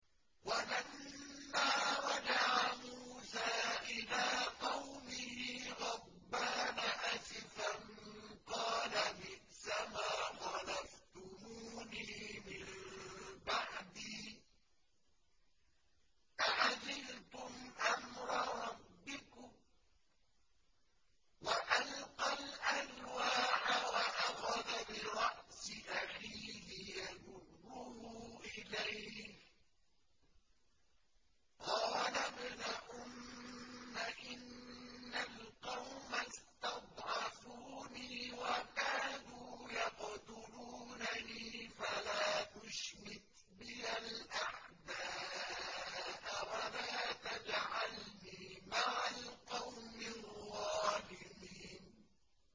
وَلَمَّا رَجَعَ مُوسَىٰ إِلَىٰ قَوْمِهِ غَضْبَانَ أَسِفًا قَالَ بِئْسَمَا خَلَفْتُمُونِي مِن بَعْدِي ۖ أَعَجِلْتُمْ أَمْرَ رَبِّكُمْ ۖ وَأَلْقَى الْأَلْوَاحَ وَأَخَذَ بِرَأْسِ أَخِيهِ يَجُرُّهُ إِلَيْهِ ۚ قَالَ ابْنَ أُمَّ إِنَّ الْقَوْمَ اسْتَضْعَفُونِي وَكَادُوا يَقْتُلُونَنِي فَلَا تُشْمِتْ بِيَ الْأَعْدَاءَ وَلَا تَجْعَلْنِي مَعَ الْقَوْمِ الظَّالِمِينَ